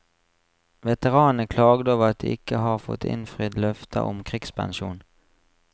Veteranene klagde over at de ikke har fått innfridd løfter om krigspensjon.